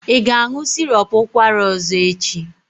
Ị ga-aṅụ sirop ụkwara ọzọ echi?